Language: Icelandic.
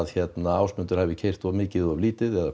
Ásmundur hafi keyrt of mikið eða lítið eða